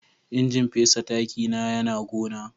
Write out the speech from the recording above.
injin fesa taki na Yana gona.